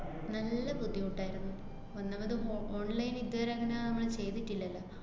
നല്ല ബുദ്ധിമുട്ടായിരുന്നു. ഒന്നാമത് ഫോ~ online ഇതുവരെ അങ്ങനെ മ്മള് ചെയ്തിട്ടില്ലല്ലോ.